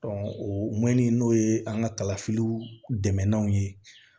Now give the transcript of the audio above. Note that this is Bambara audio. o mɔni n'o ye an ka kalafiliw dɛmɛlanw ye